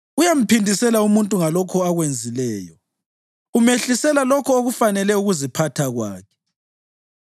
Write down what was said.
Uyamphindisela umuntu ngalokho akwenzileyo; umehlisela lokho okufanele ukuziphatha kwakhe.